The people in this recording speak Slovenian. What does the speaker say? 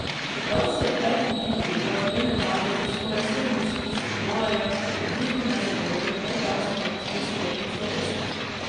Čeprav si je v petih dneh priigral dve medalji in skoraj sedemdeset tisoč dolarjev, je vidno nezadovoljen predčasno zapustil sklepno slovesnost.